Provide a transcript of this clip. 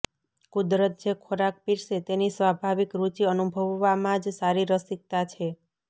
કુદરત જે ખોરાક પીરસે તેની સ્વાભાવિક રુચિ અનુભવવામાં જ સારી રસિકતા છે